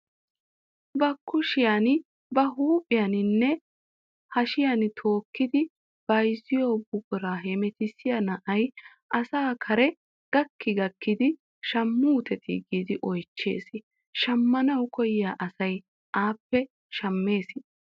Ba kushshiyaan ba huuphphiyaaninne hashiyaan tookkidi bayzziyoo buquraa hemetissiyaa na'ay asa kare gakki gakkidi shamuutetii giidi oychchees. shammanawu koyiyaa asay appe shammees.